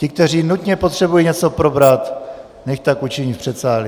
Ti, kteří nutně potřebují něco probrat, nechť tak učiní v předsálí.